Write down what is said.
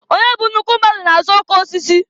Onye bụ nnukwu mmadụ na-aza okeosisi.